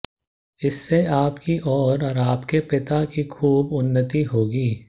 इससे आपकी और आपके पिता की खूब उन्नति होगी